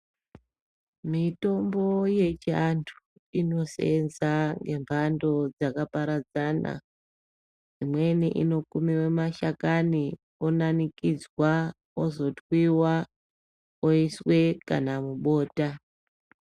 Mitombo yechiantu inoseenza ngembando dzakaparadzana. Imweni inokumiwe mashakani onanikidzwa, ozotwiwa oiswe kana mubota.